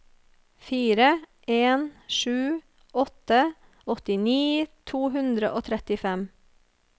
fire en sju åtte åttini to hundre og trettifem